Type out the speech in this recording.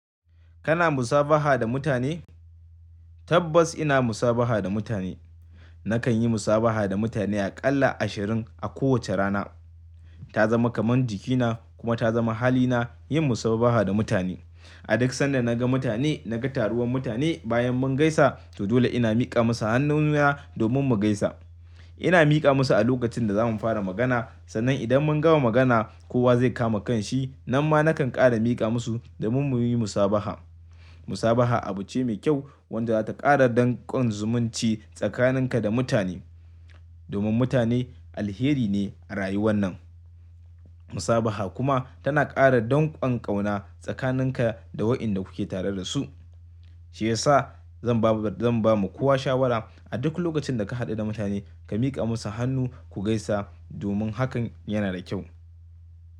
Kana musabaha da mutane? Tabbas ina musabaha da mutane. Nakan yi musabaha da mutane aƙalla ashirin a kowace rana. Ta zama kamar jikina kuma ta zama halina yin musabaha da mutane. A duk sanda naga mutane, naga taruwar mutane bayan mun gaisa, to dole ina miƙa musu hannuna domin mu gaisa. Ina miƙa musu a lokacin da za mu fara magana sannan idan mun gama magana kowa zai kama kanshi, nan ma nakan ƙara miƙa musu domin muyi musabaha. Musabaha abu ce mai kyau wadda za ta ƙara danƙon zumunci tsakaninka da mutane. Domin mutane alheri ne a rayuwan nan. Musabaha kuma tana ƙara danƙon ƙauna tsakaninka da waɗanda kuke tare da su. Shi yasa zan ba, zan ba mukuwa shawara a duk lokacin da ka haɗu da mutane ka miƙa musu hannu ku gaisa domin hakan yana da kyau.